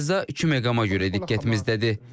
Qəzza iki məqama görə diqqətimizdədir.